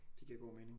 Det giver god mening